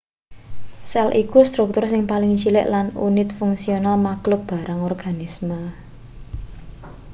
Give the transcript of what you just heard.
sel iku struktur sing paling cilik lan unit fungsional makhluk barang organisme